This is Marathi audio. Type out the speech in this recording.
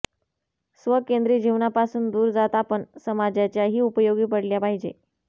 स्वकेंद्री जीवनापासून दूर जात आपण समाजाच्याही उपयोगी पडले पाहिजे